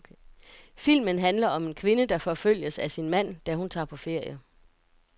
Filmen handler om en kvinde, der forfølges af sin mand, da hun tager på ferie.